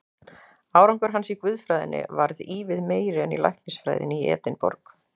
Árangur hans í guðfræðinni varð ívið meiri en í læknisfræðinni í Edinborg.